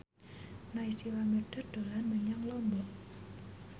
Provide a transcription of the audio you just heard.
Naysila Mirdad dolan menyang Lombok